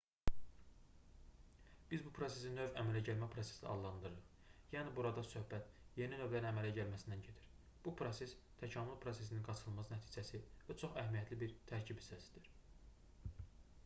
biz bu prosesi növ əmələ gəlmə prosesi adlandırırıq yəni burada söhbət yeni növlərin əmələ gəlməsindən gedir bu proses təkamül prosesinin qaçınılmaz nəticəsi və çox əhəmiyyətli bir tərkib hissəsidir